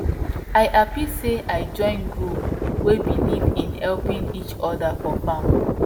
i happy say i join group wey believe in helping each other for farm